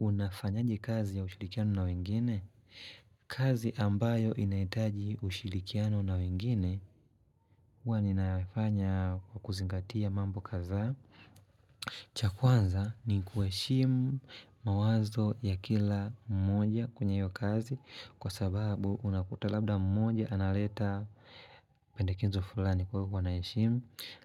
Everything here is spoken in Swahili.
Unafanyaji kazi ya ushilikiano na wengine? Kazi ambayo inaitaji ushilikiano na wengine, huwa ninafanya kuzingatia mambo kadhaa. Chakwanza ni kueshimu mawazo ya kila mmoja kwenye hiyo kazi, kwa sababu unakuta labda mmoja analeta pendekezo fulani kwa hivo kwa naeshimu,